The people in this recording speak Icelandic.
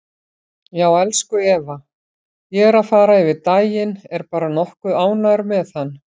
Já, elsku Eva, ég er að fara yfir daginn, er bara nokkuð ánægður með hann.